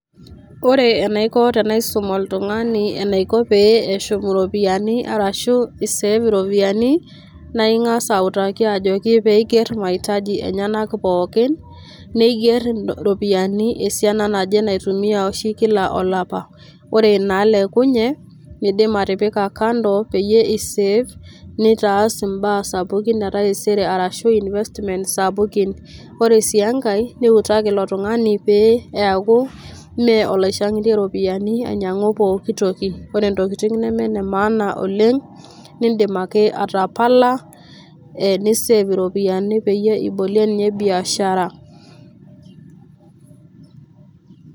Ore enaiko tenaisum oltung'ani anaiko pee eshum iropiani ashu i save iropiani naa ing'asa autaki ajoki pee iger mahitaji enyenak pookin, neiger iropiani esiana naje naitumia oshi kila olapa. Ore naalekunye niidim atipika kando peyie i save nitaas mbaa sapukin etaisere arashu investment sapukin. Kore sii enkae niutaki ilo tung'ani pee eeku mee olaishang'itir iropiani ainyang'u pooki toki. Ore ntokitin neme ne maana oleng' nindim ake atapala ni save iropiani peyie ibolie nye biashara.